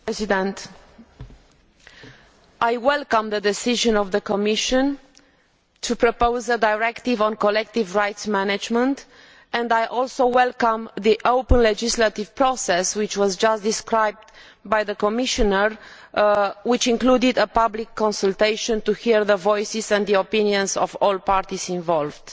Mr President, I welcome the Commission decision to propose a directive on collective rights management, and I also welcome the open legislative process just described by the Commissioner, which included a public consultation to hear the voices and opinions of all parties involved.